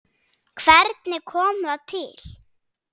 Hvernig kom það til?